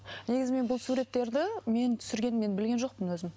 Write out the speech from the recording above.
негізі мен бұл суреттерді мені түсіргенін мен білген жоқпын өзім